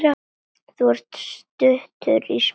Þú ert stuttur í spuna.